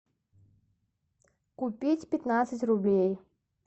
купить пятнадцать рублей